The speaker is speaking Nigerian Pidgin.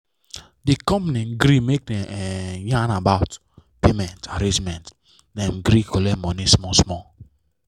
the company gree make dem um yan about payment arrangement dem gree colet money small small